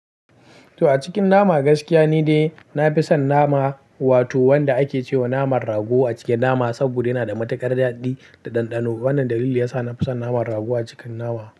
To a cikin nama, gaskiya ni dai na fi son nama, wato wanda ake ce wa naman rago a cikin nama, saboda yana da matuƙar daɗi da ɗanɗano. Wannan dalili ya sa na fi son naman rago a cikin nama.